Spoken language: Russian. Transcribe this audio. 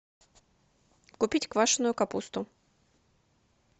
купить квашеную капусту